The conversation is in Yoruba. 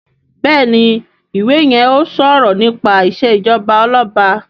Béèni iwè yén o sọrọ nípa ìṣèjọba Ọlọba.